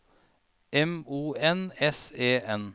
M O N S E N